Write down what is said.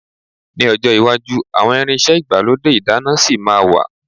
Ní ọjọ́ iwájú àwọn irinṣẹ́ igbalode ìdáná ṣì ma wà.